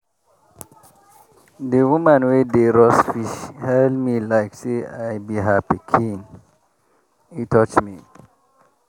di woman wey dey roast fish hail me like say i be her pikin - e touch me